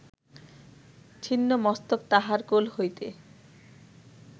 ছিন্ন মস্তক তাঁহার কোল হইতে